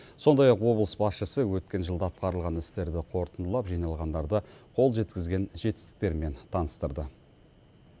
сондай ақ облыс басшысы өткен жылда атқарылған істерді қорытындылап жиналғандарды қол жеткізген жетістіктермен таныстырды